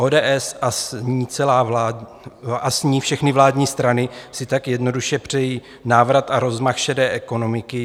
ODS a s ní všechny vládní strany si tak jednoduše přejí návrat a rozmach šedé ekonomiky.